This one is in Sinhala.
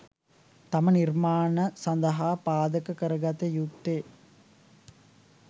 තම නිර්මාණ සඳහා පාදක කරගත යුත්තේ